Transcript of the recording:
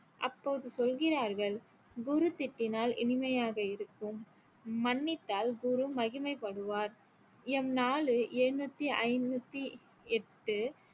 அப்போது சொல்கிறார்கள் குரு திட்டினால் இனிமையாக இருக்கும் மன்னித்தால் குரு மகிமை படுவார் எம் நாலு ஏழுநூத்தி ஐநூத்தி எட்டு